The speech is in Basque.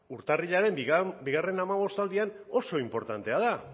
urtarrilaren bigarren hamabostaldian oso inportantea da